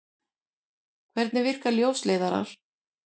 Hvernig virka ljósleiðarar?